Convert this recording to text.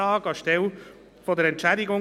Zwei, drei oder vier Minuten?